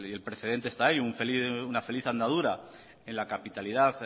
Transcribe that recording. el precedente esta ahí una feliz andadura en la capitalidad